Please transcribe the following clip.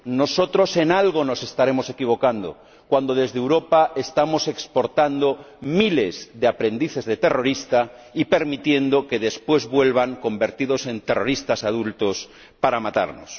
Nosotros, en algo nos estaremos equivocando cuando desde Europa estamos exportando miles de aprendices de terrorista y permitiendo que después vuelvan convertidos en terroristas adultos para matarnos.